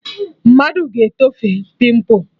Mmadụ ga-etofe pịmpụ